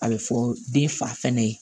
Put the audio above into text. A bɛ fɔ den fa fɛnɛ ye